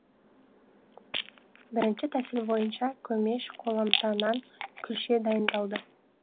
бірінші тәсіл бойынша көмеш қоламта нан күлше дайындалды